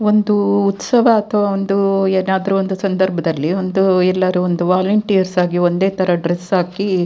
ಒಂದು ಉತ್ಸವ ಅಥವಾ ಒಂದು ಏನಾದ್ರು ಒಂದು ಸಂದರ್ಭದಲ್ಲಿ ಒಂದು ಎಲ್ಲರೂ ಒಂದು ವಾಲೆಂಟೈರ್ಸ್ ಆಗಿ ಒಂದೇ ತರದ ಡ್ರೆಸ್ ಹಾಕಿ--